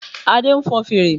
Adé nfon fèrè